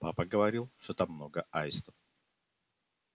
папа говорил что там много аистов